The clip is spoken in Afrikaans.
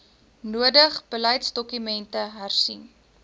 nodig beleidsdokumente hersien